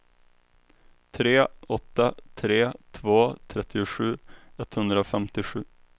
tre åtta tre två trettiosju etthundrafemtiosju